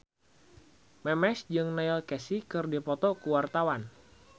Memes jeung Neil Casey keur dipoto ku wartawan